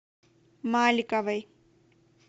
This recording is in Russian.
маликовой